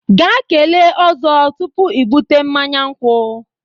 Jee kelee Ozo tupu i bute mmanya nkwu.